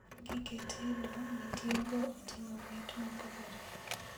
Gige tedo mitiyogo oting'o mit mopogore